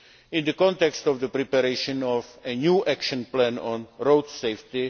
in the context of the preparation of a new action plan on road safety.